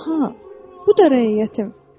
Aha, bu da rəiyyətim.